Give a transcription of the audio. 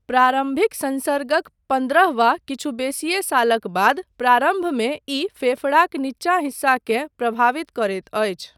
प्रारम्भिक संसर्गक पन्द्रह वा किछु बेसिये सालक बाद प्रारम्भमे ई फेफड़ाक निचका हिस्साकेँ प्रभावित करैत अछि।